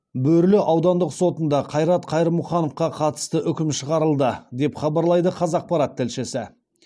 бөрлі аудандық сотында қайрат қайырмұхановқа қатысты үкім шығарылды деп хабарлайды қазақпарат тілшісі